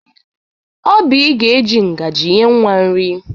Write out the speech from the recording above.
Obịị ga-eji ngaji nye nwa nri.